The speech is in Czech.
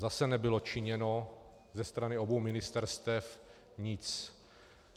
Zase nebylo činěno ze strany obou ministerstev nic.